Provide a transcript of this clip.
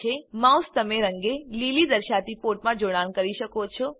mouse તમે રંગે લીલી દેખાતી પોર્ટમાં જોડાણ કરી શકો છો